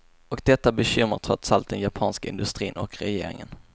Och detta bekymrar trots allt den japanska industrin och regeringen.